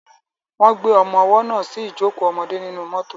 Wọ́n gbé ọmọwọ́ náà sí ìjókò ọmọdé nínú mọ́tọ̀.